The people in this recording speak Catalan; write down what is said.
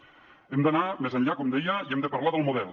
hem d’anar més enllà com deia i hem de parlar del model